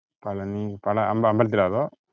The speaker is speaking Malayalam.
പളനി പള ~അമ്പലത്തിലോ അതോ?